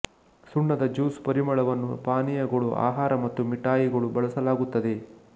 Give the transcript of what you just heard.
ಸುಣ್ಣದ ಜ್ಯೂಸ್ ಪರಿಮಳವನ್ನು ಪಾನೀಯಗಳು ಆಹಾರ ಮತ್ತು ಮಿಠಾಯಿಗಳು ಬಳಸಲಾಗುತ್ತದೆ